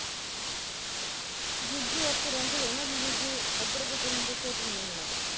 ਜੀਜੂ ਉੱਥੇ ਰਹਿੰਦੇ ਤੇ ਨਾ ਜੇ ਜੀਜੂ ਏਦਰ ਕਿਤੇ ਹੁੰਦੇ ਫਿਰ ਨੀ ਹੋਣਾ ਤਾਂ